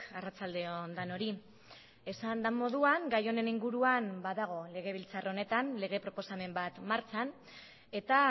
arratsalde on denoi esan den moduan gai honen inguruan badago legebiltzar honetan lege proposamen bat martxan eta